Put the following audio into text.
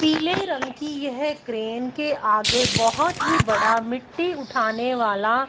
पीले रंग की यह क्रेन के आगे बहुत ही बड़ा मिट्टी उठाने वाला--